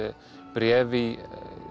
bréf í